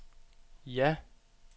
ja